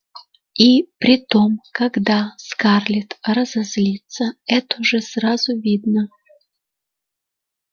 и притом когда скарлетт разозлится это же сразу видно